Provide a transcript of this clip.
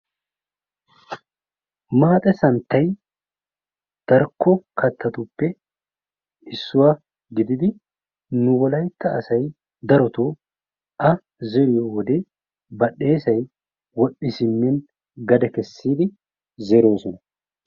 Maaxe santtay darkko kattatuppe issuwaa gididi nu wolaytta asay darotoo A zeriyo wode badhdheesay wodhdhi simmin gade kessidi zeroosona.